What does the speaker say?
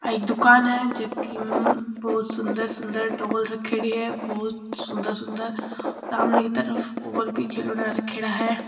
एक दुकान है जो की बहोत सुन्दर सुन्दर डॉल रखेडी है बहोत सुन्दर सुंदर समाने की तरफ और भी खिलौना रखेड़ा है।